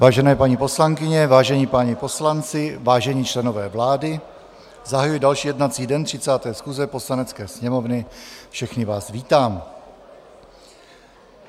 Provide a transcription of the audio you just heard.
Vážené paní poslankyně, vážení páni poslanci, vážení členové vlády, zahajuji další jednací den 30. schůze Poslanecké sněmovny, všechny vás vítám.